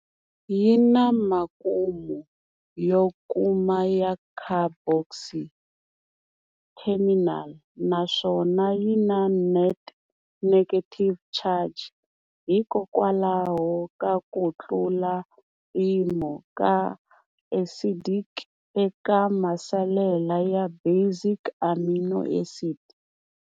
Yina makumu yo koma ya carboxy terminal naswona yina net negative charge hikokwalaho ka ku tlula mpimo ka acidic eka masalela ya basic amino acid.